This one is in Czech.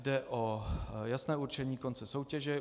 Jde o jasné určení konce soutěže.